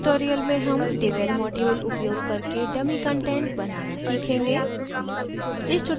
इस tutorial में हम devel module उपयोग करके dummy कंटेंट बनाना सीखेंगे